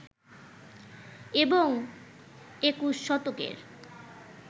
এবং ২১ শতকের